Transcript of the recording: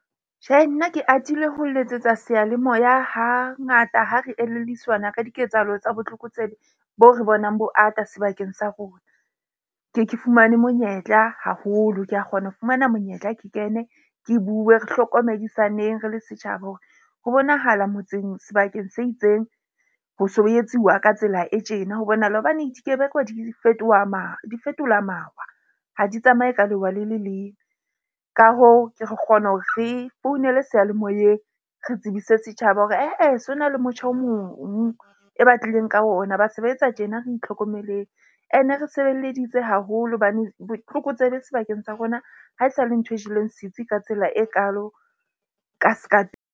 Tjhehe, nna ke atile ho letsetsa seyalemoya. Hangata ha re elelliswana ka diketsahalo tsa botlokotsebe bo re bonang bo ata sebakeng sa rona. Ke ye ke fumane monyetla haholo, ke a kgona ho fumana monyetla ke kene ke bue. Re hlokomedisaneng re le setjhaba hore ho bonahala motseng sebakeng se itseng ho so ho etsiwa ka tsela e tjena. Ho bonahala hobane dikebekwa di fetoha di fetola mawa. Ha di tsamaye ka lewa le le leng. Ka hoo, ke re kgona hore re founele seyalemoyeng, re tsebise setjhaba hore ae, se ho na le motjha o mong e batlileng ka ona. Ba se ba etsa tjena re itlhokomeleng. Ene re sebeleditse haholo hobane botlokotsebe sebakeng sa rona ha esale ntho e jeleng setsi ka tsela e kaalo ka ska .